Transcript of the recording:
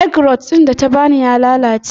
Egg roll ɗin da ta ba ni ya lalace.